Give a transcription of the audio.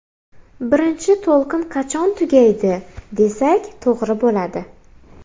Birinchi to‘lqin qachon tugaydi, desak to‘g‘ri bo‘ladi.